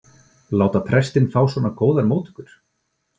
láta prestinn fá svona góðar móttökur.